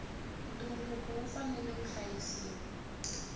ntumbuluko wu fanela wu hlayisiwa